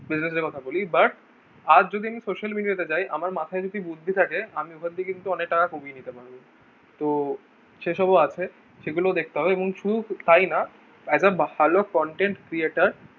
busines এর কথা বলি but আজ যদি social media তে যাই আমার মাথায় যদি বুদ্ধি থাকে আমি ওখান থেকে কিন্তু অনেক টাকা কমিয়ে নিতে পারবো তো সেই সব ও আছে সেগুলো ও দেখতে হবে এবং শুধু তাই না as a ভালো content creator